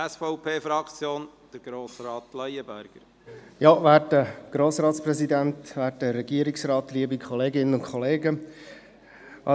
Eine Mehrheit lehnt die Motion ab, und es gibt auch Stimmen dafür.